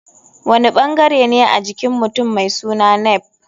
Wani ɓangarene a jikin mutum mai suna nape?